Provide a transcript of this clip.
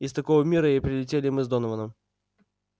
из такого мира и прилетели мы с донованом